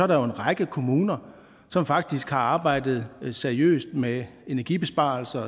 der jo en række kommuner som faktisk har arbejdet seriøst med energibesparelser